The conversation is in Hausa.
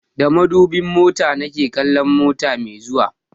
Da madubin mota na ke kallon mota mai zuwa